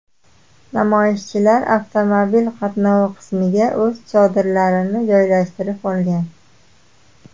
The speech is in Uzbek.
Namoyishchilar avtomobil qatnovi qismiga o‘z chodirlarini joylashtirib olgan.